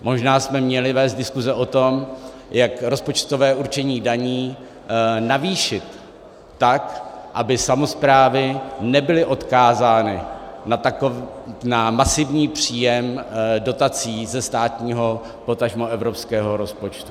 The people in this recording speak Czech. Možná jsme měli vést diskuse o tom, jak rozpočtové určení daní navýšit tak, aby samosprávy nebyly odkázány na masivní příjem dotací ze státního, potažmo evropského rozpočtu.